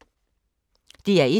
DR1